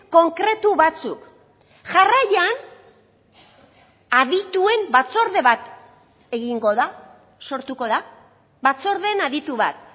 konkretu batzuk jarraian adituen batzorde bat egingo da sortuko da batzordeen aditu bat